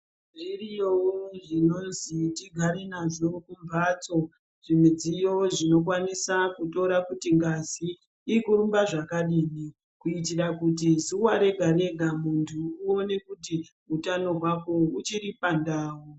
Zviriyowo zvinozi tigare nazvo mumhatso ,zvimidziyo zvinokwanisa kutora kuti ngazi iri kurumba zvakadini, kuitira kuti zuwa rega- rega muntu uone kuti utano hwako uchiri pandau.